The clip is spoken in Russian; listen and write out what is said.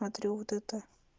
смотрю вот это